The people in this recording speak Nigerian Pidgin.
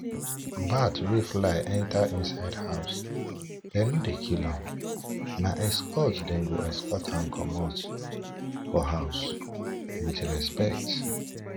bat wey fly enter inside house them no dey kill am na escort them go escort am comot for house with respect